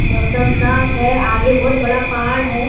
मौसम साफ है आगे बहुत बड़ा पहाड़ है।